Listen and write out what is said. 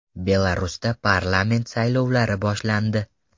Belarusda parlament saylovlari boshlandi.